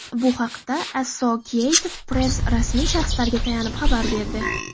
Bu haqda Associated Press rasmiy shaxslarga tayanib xabar berdi.